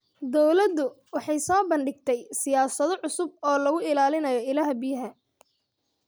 Dawladdu waxay soo bandhigtay siyaasado cusub oo lagu ilaalinayo ilaha biyaha.